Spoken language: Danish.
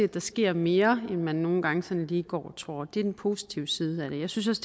der sker mere end man nogle gange sådan lige går og tror det er den positive side af det jeg synes